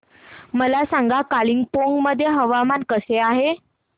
मला सांगा कालिंपोंग मध्ये हवामान कसे आहे